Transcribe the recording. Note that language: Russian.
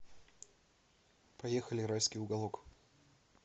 поехали райский уголок